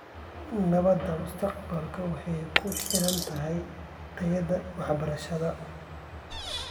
Nabadda mustaqbalka waxay ku xiran tahay tayada waxbarashada.